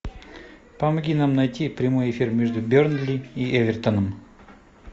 помоги нам найти прямой эфир между бернли и эвертоном